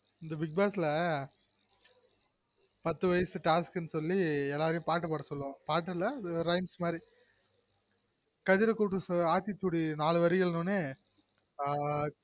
இந்த bigboss ல்